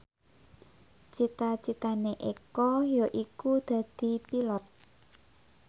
cita citane Eko yaiku dadi Pilot